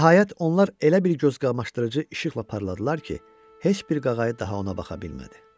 Və nəhayət onlar elə bir gözqamaşdırıcı işıqla parladılar ki, heç bir qaqayı daha ona baxa bilmədi.